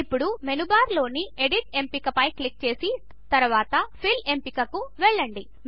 ఇప్పుడు మెనూబార్లోని ఎడిట్ ఎంపిక పై క్లిక్ చేసి తరువాత ఫిల్ ఎంపిక కు వెళ్ళండి